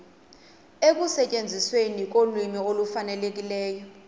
ekusetyenzisweni kolwimi olufanelekileyo